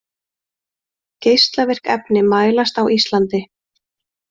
Geislavirk efni mælast á Íslandi